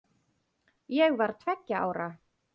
Ég var tveggja ára.